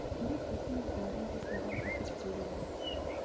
керек десең бәрін де саған әкеп берейін